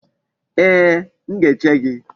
Ee, m ga-eche gị.